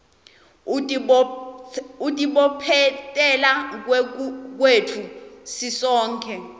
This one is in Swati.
kutibophetela kwetfu sisonkhe